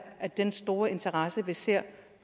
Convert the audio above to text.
af den store interesse vi ser